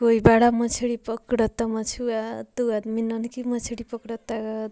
कोई बड़ा मछली पकड़त मछुआ दू आदमी नन्हकी मछली पकड़त --